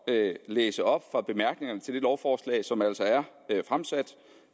at læse op fra bemærkningerne til det lovforslag som altså er fremsat